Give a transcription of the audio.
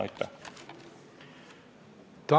Aitäh!